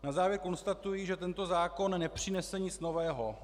Na závěr konstatuji, že tento zákon nepřinese nic nového.